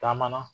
Taama na